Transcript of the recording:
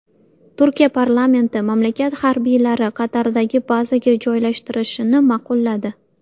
Turkiya parlamenti mamlakat harbiylari Qatardagi bazaga joylashtirilishini ma’qulladi.